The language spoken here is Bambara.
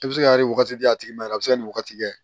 I bɛ se kari wagati di a tigi ma yɛrɛ a bɛ se ka nin wagati kɛ